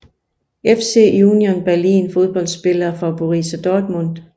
FC Union Berlin Fodboldspillere fra Borussia Dortmund